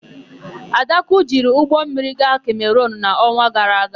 Adakụ jiri ụgbọmmiri gaa Kemerunu n'ọnwa gara aga.